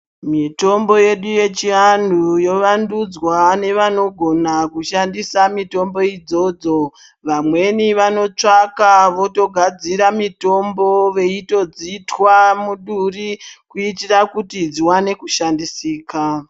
Mitombo yedu yechivantu yovandudzwa nevanogona kushandisa mitombo idzodzo. Vamweni vanotsvaka, votogadzire mitombo, veitodzitwa muduri kuitira kuti dziwane kushandisika.